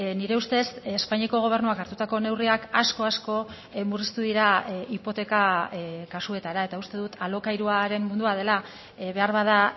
nire ustez espainiako gobernuak hartutako neurriak asko asko murriztu dira hipoteka kasuetara eta uste dut alokairuaren mundua dela beharbada